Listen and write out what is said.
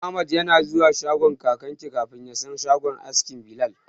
Ahmad yana zuwa Kakaki kafin ya san shagon askin Bilal.